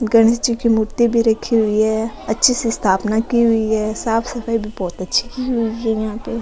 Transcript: गणेश जी की मूर्ति भी राखी हुई है अच्छी स्थापना की हुई है साफ सफाई भी बहुत अच्छी की हुई है यहां पे।